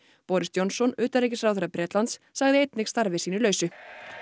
boris Johnson utanríkisráðherra Bretlands sagði einnig starfi sínu lausu